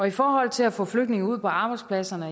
i forhold til at få flygtninge ud på arbejdspladserne